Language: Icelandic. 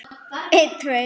Iðja sú er ekki góð.